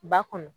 Ba kɔnɔ